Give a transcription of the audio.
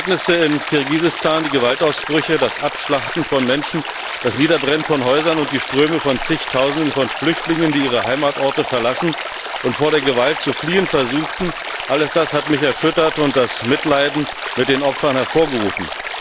Die jüngsten Ereignisse in Kirgisistan die Gewaltausbrüche, das Abschlachten von Menschen, das Niederbrennen von Häusern und die Ströme von zigtausenden Flüchtlingen, die ihre Heimatorte verlassen und vor der Gewalt zu fliehen versuchten, alles das hat mich erschüttert und das Mitleiden mit den Opfern hervorgerufen.